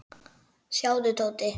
Sjáðu, Tóti.